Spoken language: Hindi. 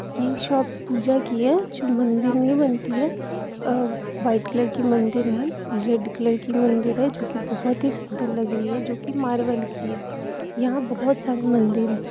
यह शॉप पूजा की है जो मंदिर में बनती है और वाइट कलर की मंदिर है रेड कलर की भी मंदिर है जोकि बहुत ही सुँदर लग रही है जोकि मार्बल की है यहां पर बहुत सारे मंदिर है।